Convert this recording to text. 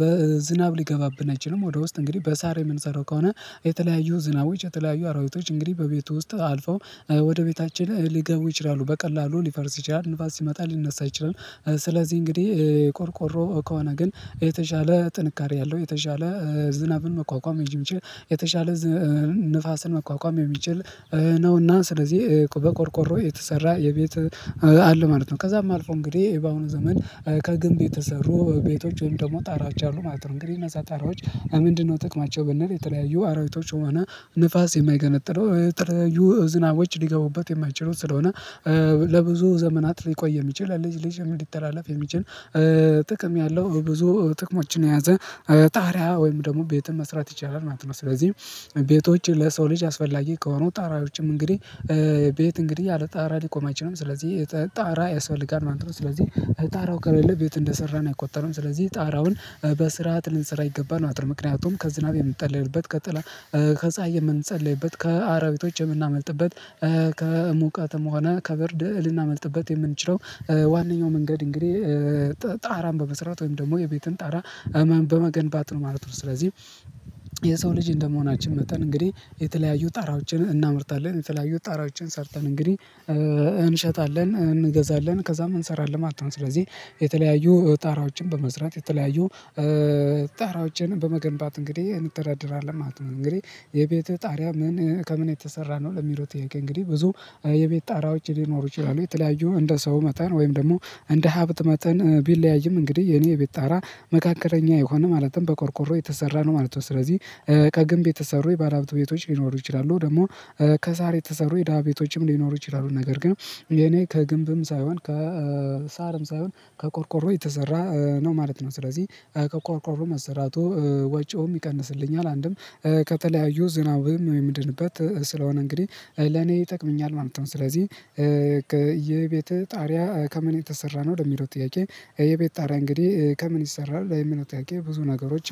በዝናብ ሊገባብን አይችልም ወደ ውስጥ እንግዲህ በሳር የምንሰራው ከሆነ የተለያዩ ዝናብ ወይም የተለያዩ አራዊቶች እንግዲህ በቤቱ ውስጥ አልፈው ወደ ቤታችን ሊገቡ ይችላሉ በቀላሉ ሊፈርስ ይችላል ንፋስ ሲመጣ ሊነሳ አይችልም። ስለዚህ እንግዲህ ቆርቆሮ ከሆነ ግን የተሻለ ጥንካሬ አለው የተሻለ ዝናብን መቋቋም የሚችል የተሻለ ንፋስን መቋቋም የሚችል ነውና ስለዚህ በቆርቆሮ የተሰራ የቤት አለ ማለት ነው። ከዛም አልፎ እንግዲህ በአሁኑ ዘመን ከግንብ የተሰሩ ቤቶች ወይም ደግሞ ጣራዎች አሉ ማለት ነው። እንግዲህ እነዛ ጣራዎች ምንድነው ጥቅማቸው? ብንል የተለያዩ አራዊቶች ሆና ንፋስ የማይገለጥለው የተለያዩ ዝናቦች ሊገቡበት የማይችሉት ስለሆነ ለብዙ ዘመን ሊቆይ የሚችል ለልጅ ልጅ ሊተላለፍ የሚችል ጥቅም ያለው ብዙ ጥቅሞችን የያዘ ጣሪያ ወይም ደግሞ ቤትም መስራት ይቻላል ማለት ነው። ስለዚህ ቤቶች ለሰው ልጅ አስፈላጊ ከሆኑ ጣራዎችም እንግዲህ ቤት እንግዲህ ያለ ጣራ ሊቆም አይችልም ስለዚህ ጣራ ያስፈልጋል ማለት ነው። ስለዚህ ጣራው ከሌለ ቤት እንደሰራን አይቆጠርም። ስለዚህ ጣራውን በስርዓት ልንጽራ ይገባናል ምክንያቱም ከዝናብ የምንጠለይበት ከጸሀይ የምንጸልይበት ከአራዊቶች የምናመልጥበት ከሙቀትም ሆነ ከብርድ ልናመልጥበት የምንችለው ዋናኛው መንገድ እንግዲህ ጣራም በመስራት ወይም ደግሞ የቤትን ጣራ እመን በመገንባት ነው ማለት ነው። ስለዚህ የሰው ልጅ እንደመሆናችን መጥተን እንግዲህ የተለያዩ ጣራዎችን እናመርታለን የተለያዩ ጣራዎችን ሰርተን እንግዲህ እንሸጣለን እንገዛለን ከዛም እንሰራለን ማለት ነው። ስለዚህ የተለያዩ ጣራዎችን በመስራት የተለያዩ ጣራዎችንም በመገንባት እንግዲህ እንተዳደራለን ማለት ነው። እንግዲህ የቤትህ ጣሪያ ምን ከምን የተሰራ ነው? ለሚለው ጥያቄ እንግዲህ ብዙ የቤት ጣራዎች ሊኖሩ ይችላሉ የተለያዩ እንደ ሰው መጠን ወይም ደግሞ እንደ ሀብት መጠን ቢለያይም እንግዲህ የኔ ቤት ጣራ መካከለኛ የሆነ ማለትም በቆርቆሮ የተሰራ ነው ማለት ነው። ስለዚህ ከግንብ የተሰሩ የባለሀብት ቤቶች ሊኖሩ ይችላሉ ደግሞ ከሳር የተሰሩ የደሃ ቤቶችም ሊኖሩ ይችላሉ። ነገር ግን የኔ ከግንብም ሳይሆን ከሳርም ሳይሆን ከቆርቆሮ የተሰራ ነው ማለት ነው። ስለዚህ ከቆርቆሮ መሰራቱ ወጪውም ይቀንስልኛል አንድም ከተለያዩ ዝናብም የምድንበት ስለሆነ እንግዲህ ለኔ ይጠቅምኛል ማለት ነው። ስለዚህ የቤትህ ጣሪያ ከምን የተሰራ ነው? ለሚለው ጥያቄ የቤት ጣሪያ እንግዲህ ከምን ይሰራል ለሚለው ጥያቄ ብዙ ነገሮች